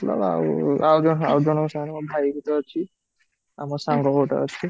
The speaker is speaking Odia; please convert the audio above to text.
ମତଲବ ଆଉ ଆଉ ଜଣେ ଆଉଜଙ୍କ ସାଙ୍ଗରେ ମୋ ଭାଇ ଭି ତ ଅଛି, ଆଉ ମୋ ସାଙ୍ଗ ଗୋଟେ ଅଛି